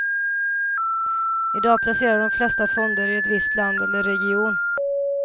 I dag placerar de flesta fonder i ett visst land eller i en region.